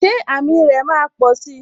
Ṣé àmì rè máa posi?